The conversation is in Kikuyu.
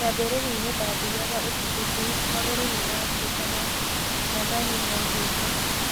"Kĩambĩriainĩ ndathiyaga ũtukũ tũ, magũrũ nĩmatũkaga," Nathani nĩaugĩte.